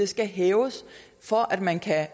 skal hæves for at man kan